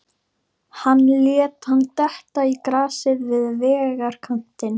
Hann lét hann detta í grasið við vegarkantinn.